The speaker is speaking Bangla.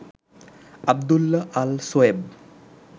আব্দুল্লাহ আল সোয়েব